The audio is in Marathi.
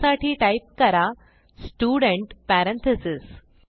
त्यासाठी टाईप करा स्टुडेंट पॅरेंथीसेस